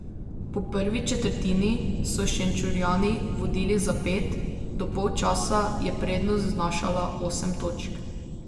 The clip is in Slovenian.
Po prvi četrtini so Šenčurjani vodili za pet, do polčasa je prednost znašala osem točk.